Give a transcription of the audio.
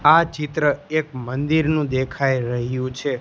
આ ચિત્ર એક મંદિરનું દેખાઈ રહ્યું છે.